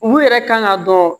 U yɛrɛ kan ka dɔn